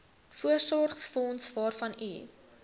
voorsorgsfonds waarvan u